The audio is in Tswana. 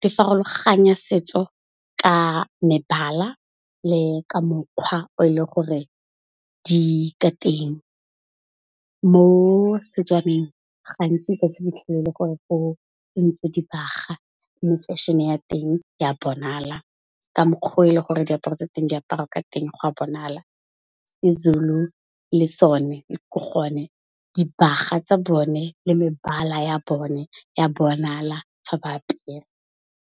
di farologanya setso ka mebala le ka mokgwa o e le gore di ka teng. Mo Setswaneng gantsi o ka se fitlhelele gore o kentse dibaga, mme fashion-e ya teng ya bonala ka mokgwa o e le gore re diaparo tsa teng di aparwa ka teng go a bonala. Sezulu le sone ke gone dibaga tsa bone le mebala ya bone ya bonala fa ba apere.